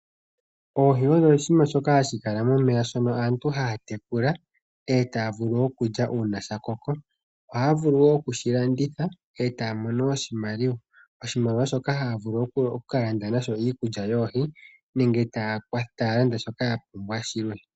Oohi odho iinamwenyo mbyoka hayi kala momeya dhono aantu haya tekula eta ya vulu oku lya uuna dha koka. Ohadhi vulu woo oku dhi landitha eta ya mono oshimaliwa. Oshimaliwa ohaye shi longitha oku landa iikulya yoohi nenge shilwe shoka ya pumbwa.